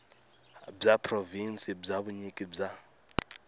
bya provhinsi bya vunyiki bya